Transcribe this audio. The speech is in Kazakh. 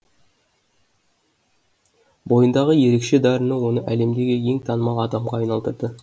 бойындағы ерекше дарыны оны әлемдегі ең танымал адамға айналдырды